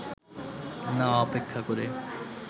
না অপেক্ষা করে